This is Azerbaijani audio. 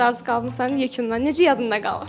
Razı qaldın Yekundan? Necə yadında qalıb?